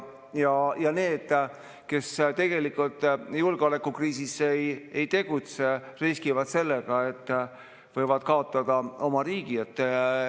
Need, kes tegelikult julgeolekukriisis ei tegutse, riskivad sellega, et võivad kaotada oma riigi.